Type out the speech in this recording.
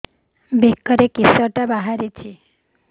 ବେକରେ କିଶଟା ବାହାରିଛି